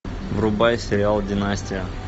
врубай сериал династия